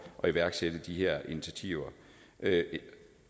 at iværksætte de her initiativer